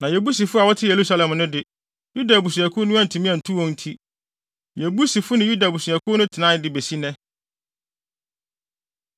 Na Yebusifo a wɔte Yerusalem no de, Yuda abusuakuw no antumi antu wɔn nti, Yebusifo ne Yuda abusuakuw no tenae de besi nnɛ.